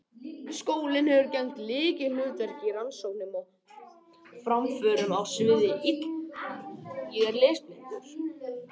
Skólinn hefur gegnt lykilhlutverki í rannsóknum og framförum á sviði ylræktar.